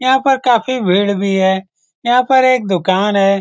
यहाँ पर काफी भीड़ भी है। यहाँ पर एक दूकान है।